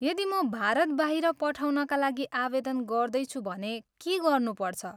यदि म भारत बाहिर पठाउनका लागि आवेदन गर्दैछु भने के गर्नुपर्छ?